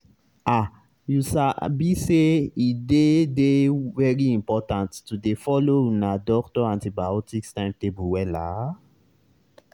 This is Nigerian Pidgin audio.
ahyou sabi say e dey dey very important to dey follow una doctor antibiotics timetable wella.